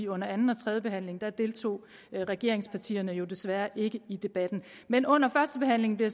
under anden og tredje behandling deltog regeringspartierne desværre ikke i debatten men under førstebehandlingen blev